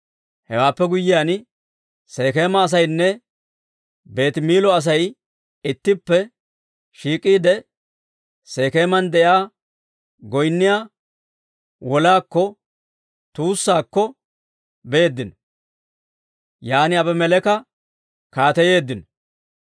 Hewaappe guyyiyaan, Sekeema asaynne Beetimiillo Asay ittippe shiik'iide, Sekeeman de'iyaa goynniyaa wolaa tuussaakko beeddino; yaan Aabimeleeka kaateyeeddino.